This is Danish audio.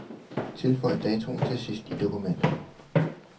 Tilføj datoen til sidst i dokumentet.